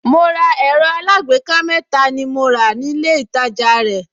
Mo ra ẹ̀rọ alágbèéká mẹ́ta ni mo rà nílé ìtajà rẹ̀